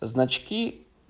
значки